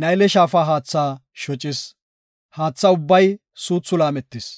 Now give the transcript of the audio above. Nayle Shaafa haatha shocis. Haatha ubbay suuthi laametis.